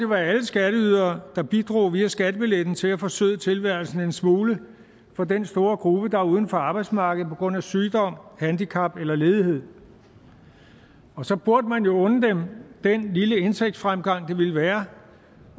være alle skatteydere der bidrog via skattebilletten til at forsøde tilværelsen en smule for den store gruppe der er uden for arbejdsmarkedet på grund af sygdom handicap eller ledighed og så burde man jo unde dem den lille indtægtsfremgang det ville være